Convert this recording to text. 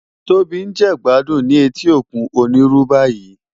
Tobi n je igbàdún ni éti ókún ónirú bàyí